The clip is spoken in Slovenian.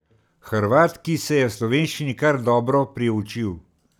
Hrvat, ki se je slovenščini kar dobro priučil.